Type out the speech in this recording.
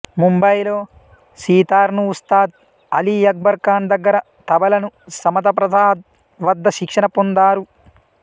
ముంబైలో సితార్ను ఉస్తాద్ అలీ అక్బర్ ఖాన్ దగ్గర తబలను సమత ప్రసాద్ వద్ద శిక్షణ పొందారు